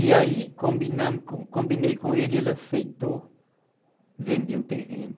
E aí combinamos, combinei com ele e ele aceitou vender o terreno.